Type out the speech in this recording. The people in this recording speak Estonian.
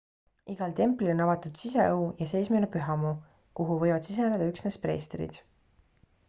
igal templil on avatud siseõu ja seesmine pühamu kuhu võivad siseneda üksnes preestrid